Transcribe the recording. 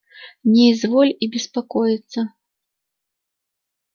не изволь и беспокоиться